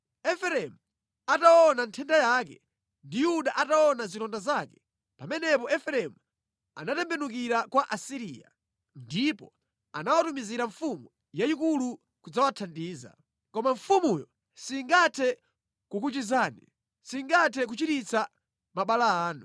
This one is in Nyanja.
“Efereimu ataona nthenda yake, ndi Yuda ataona zilonda zake, pamenepo Efereimu anatembenukira kwa Asiriya, ndipo anawatumizira mfumu yayikulu kudzawathandiza. Koma mfumuyo singathe kukuchizani, singathe kuchiritsa mabala anu.